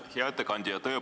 Hea ettekandja!